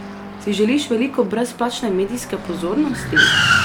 Si želiš veliko brezplačne medijske pozornosti?